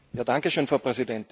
Frau Präsidentin!